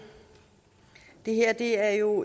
er jo